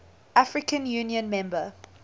african union member